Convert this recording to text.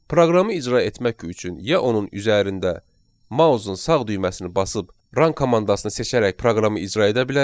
Proqramı icra etmək üçün ya onun üzərində mousun sağ düyməsini basıb run komandasını seçərək proqramı icra edə bilərik.